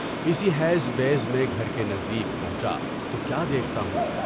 اسی حیض بیض میں گھر کے نزدیک پہنچا، تو کیا دیکھتا ہوں؟